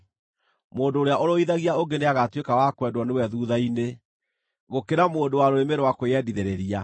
Mũndũ ũrĩa ũrũithagia ũngĩ nĩagatuĩka wa kwendwo nĩwe thuutha-inĩ, gũkĩra mũndũ wa rũrĩmĩ rwa kwĩyendithĩrĩria.